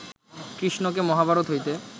কৃষ্ণকে মহাভারত হইতে